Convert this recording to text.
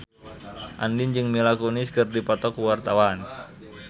Andien jeung Mila Kunis keur dipoto ku wartawan